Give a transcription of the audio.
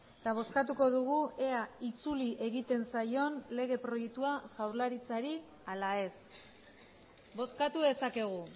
eta bozkatuko dugu ea itzuli egiten zaion lege proiektua jaurlaritzari ala ez bozkatu dezakegu